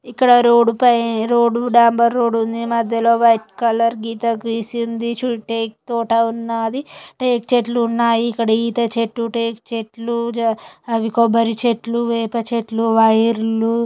ఇక్కడ డోర్ పై డెంబర్ రోడ్ ఉంది మధ్యలో వైట్ కలర్ గీత గీసి ఉంది చుట్టూ తోట ఉన్నది రేకుషెడ్లు ఉన్నాయి ఇక్కడ ఈత చెట్లు టేకు చెట్లు అవి కొబ్బరి చెట్లు వేప చెట్లు వైర్లు --